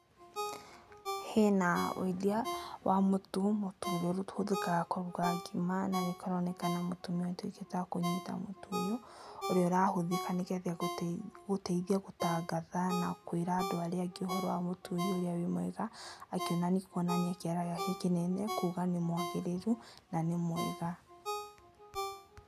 Hena na wendia wa mũtu, mũtu ũhũthĩkaga kũruga ngima na kũroneka mũtumia ũtuĩkĩte wakũnyita mũtu ũyũ, ũrĩa ũrahũthĩka nĩgetha gũteithia gũtangatha na kũĩra andũ arĩa angĩ ũhoro wa mũtu ũyũ ũrĩa wĩ mwega, Akĩonanania kũonania kĩara gĩake kĩnene kuuga nĩ mwagĩrĩru na nĩ mwega.